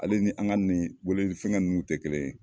Ale ni an ka nin weleli fɛnkɛ nunnu tɛ kelen ye.